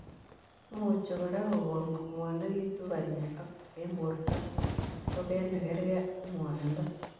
Imuchii kora kogon kongwanekitu panyeek eng portoo ak toget nekargei ak ngwanindoo.